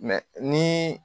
ni